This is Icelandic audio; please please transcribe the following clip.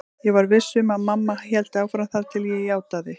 Ég var viss um að mamma héldi áfram þar til ég játaði.